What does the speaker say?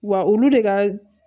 Wa olu de ka